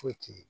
Foyi ti ye